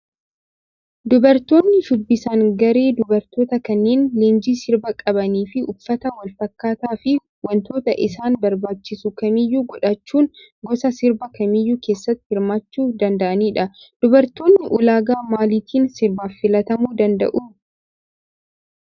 Dubartoonni shubbisan garee dubartootaa kanneen leenjii sirbaa qabanii fi uffata wal fakkaataa fi wantoota isaan barbaachisu kamiyyuu godhaachuun gosa sirbaa kamiyyuu keessatti hirmaachuu danda'anidha. Dubartoonni ulaagaa maaliitiin sirbaaf filatamuu danda'u?